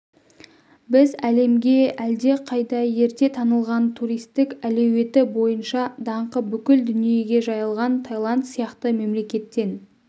біз әлемге әлдеқайда ерте танылған туристік әлеуеті бойынша даңқы бүкіл дүниеге жайылған таиланд сияқты мемлекеттен